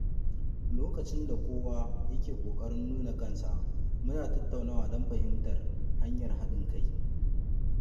Lokacin da kowa ya ke kokarin nuna kansa, muna tattaunawa don fahimtar hanyar haɗin kai.